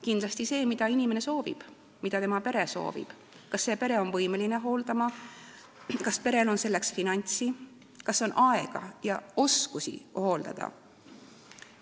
Kindlasti see, mida inimene soovib ja mida tema pere soovib, kas pere on võimeline teda hooldama, kas perel on selleks finantse, kas neil on aega ja oskusi hooldada.